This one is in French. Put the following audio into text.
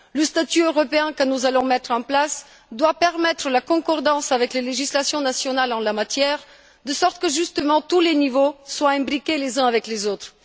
Le statut européen que nous allons mettre en place doit permettre la concordance avec les législations nationales en la matière, de sorte que, justement, tous les niveaux soient imbriqués les uns dans les autres.